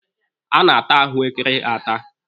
A na-ata ahụekere ata.